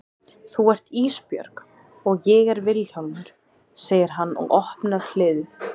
Þú ert Ísbjörg og ég er Vilhjálmur, segir hann og opnar hliðið.